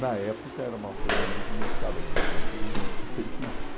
Na época era uma coisa muito inusitada, que ela não conhecia ninguém que tinha feito isso.